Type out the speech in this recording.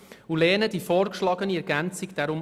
Deshalb lehnen wir die vorgeschlagene Ergänzung ab.